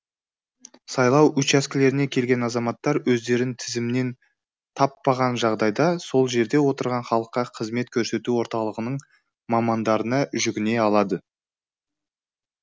сайлау учаскелеріне келген азаматтар өздерін тізімнен таппаған жағдайда сол жерде отырған халыққа қызмет көрсету орталығының мамандарына жүгіне алады